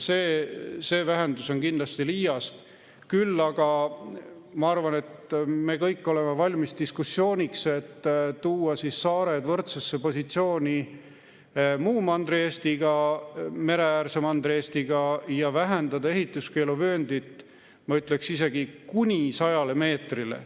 See vähendus on kindlasti liiast, küll aga ma arvan, et me kõik oleme valmis diskussiooniks, et tuua saared võrdsesse positsiooni Mandri-Eestiga, mereäärse Mandri-Eestiga ja vähendada ehituskeeluvööndit, ma ütleksin, isegi kuni 100 meetrile.